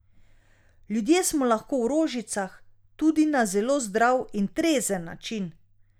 Ljudje smo lahko v rožicah tudi na zelo zdrav in trezen način.